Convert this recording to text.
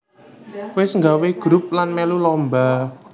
Wis nggawé grup lan mèlu lomba